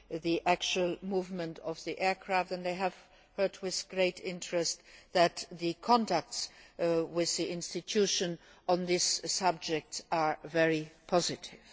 the actual movement of aircraft, and I have heard with great interest that the contacts with the institution on this subject are very positive.